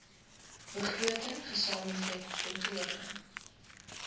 begroting gesamentlike kontrole